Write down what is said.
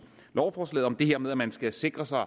lovforslaget om det her med at man skal sikre sig